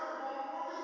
i a thetsheleswa na u